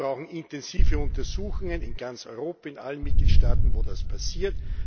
Wir brauchen intensive Untersuchungen in ganz Europa, in allen Mitgliedstaaten, in denen das passiert.